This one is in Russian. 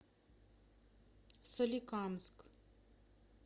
соликамск